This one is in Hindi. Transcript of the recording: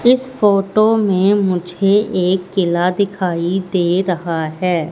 इस फोटो में मुझे एक किला दिखाई दे रहा है।